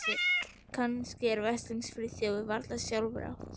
Kannski er veslings Friðþjófi varla sjálfrátt.